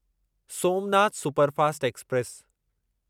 Somnath superfast express